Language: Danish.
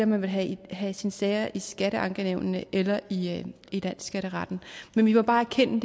man ville have have sine sager i skatteankenævnene eller i landsskatteretten men vi må bare erkende